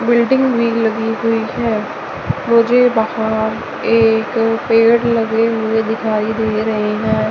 Building भी लगी हुई है मुझे बाहर एक पेड़ लगे हुए दिखाई दे रहे हैं।